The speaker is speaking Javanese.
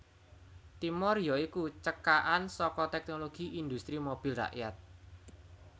Timor ya iku cekakan saka Teknologi Industri Mobil Rakyat